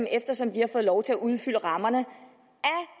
eftersom de har fået lov til at udfylde rammerne